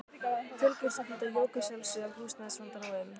Fjölgun stúdenta jók að sjálfsögðu á húsnæðisvandann og um